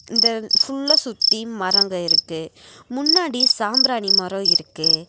இந்த ஃபுல்லா சுத்தி மரங்க இருக்கு முன்னாடி சாம்ராணி மரொ இருக்கு.